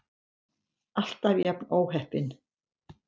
Alltaf jafn óheppin!